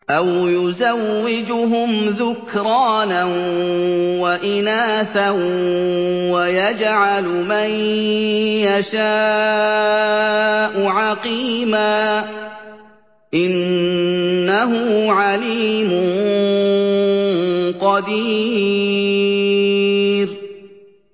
أَوْ يُزَوِّجُهُمْ ذُكْرَانًا وَإِنَاثًا ۖ وَيَجْعَلُ مَن يَشَاءُ عَقِيمًا ۚ إِنَّهُ عَلِيمٌ قَدِيرٌ